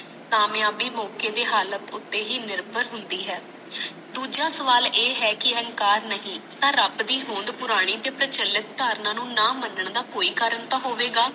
ਕਾਮਿਆਬੀ ਮੌਕੇ ਦੇ ਹਾਲਤ ਉਤੇ ਹੀ ਨਿਰਭਰ ਹੁੰਦੀ ਹੈ ਦੂਜਾ ਸਵਾਲ ਇਹ ਹੈ ਕਿ ਅਹੰਕਾਰ ਨਹੀ ਤਾ ਰਬ ਦੀ ਹੋਂਦ ਪੁਰਾਣੀ ਪਰਿਚਾਲਤ ਦਾਰਨਾ ਨੂੰ ਨਾ ਮਾਨਣ ਦਾ ਕੋਈ ਕਰਨ ਤਾ ਹੋਇਗਾ